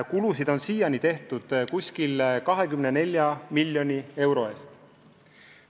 Kulusid on siiani olnud umbes 24 miljonit eurot.